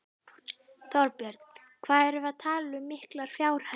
Þorbjörn: Hvað erum við að tala um miklar fjárhæðir?